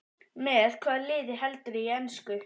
Með hvaða liði heldurðu í ensku?